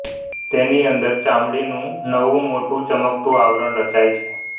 તેની અંદર ચામડીનું નવું મોટું ચમકતું આવરણ રચાય છે